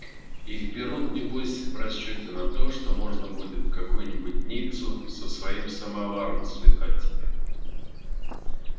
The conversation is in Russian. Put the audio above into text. их берут небось в расчёте на то что можно будет в какую-нибудь ниццу со своим самоваром слетать